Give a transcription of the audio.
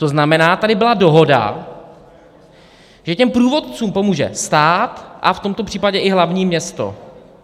To znamená, tady byla dohoda, že těm průvodcům pomůže stát a v tomto případě i hlavní město.